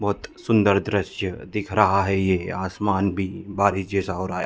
बोहत सुन्दर दृश्य दिख रहा है ये आसमान भी बारिश जैसा हो रहा है ।